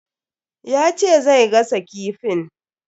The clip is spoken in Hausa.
Ya ce zai gasa kifin.